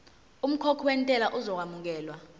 umkhokhi wentela uzokwamukelwa